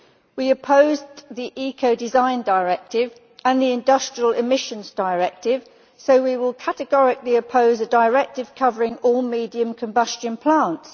We opposed the Eco design Directive and the Industrial Emissions Directive, so we will categorically oppose a directive covering all medium combustion plants.